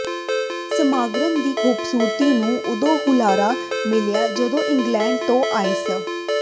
ਸਮਾਗਮ ਦੀ ਖੂਬਸੂਰਤੀ ਨੂੰ ਉਦੋਂ ਹੁਲਾਰਾ ਮਿਲਿਆ ਜਦੋਂ ਇੰਗਲੈਂਡ ਤੋਂ ਆਏ ਸ